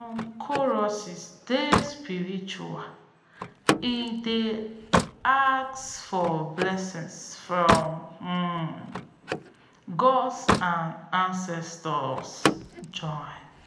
some choruses dey spiritual e dey ask for blessings from um god and ancestors join.